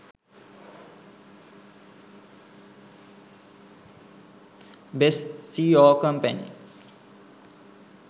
best seo company